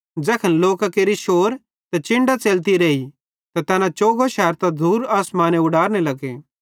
ज़ैखन लोकां केरि शौर ते चिन्डां च़ेलती रेइ त तैना चोगे शैरतां धूड़ आसमाने उडारने लगे